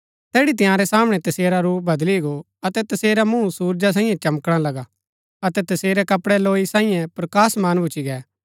तैड़ी तंयारै सामणै तसेरा रूप बदली गो अतै तसेरा मूँह सुरजा साईयें चमकणा लगा अतै तसेरै कपड़ै लौई साईयें प्रकाशमान भूच्ची गै